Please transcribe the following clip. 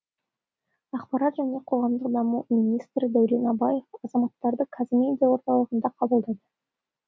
ақпарат және қоғамдық даму министрі дәурен абаев азаматтарды қазмедиа орталығында қабылдады